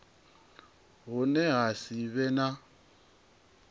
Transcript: hune ha si vhe na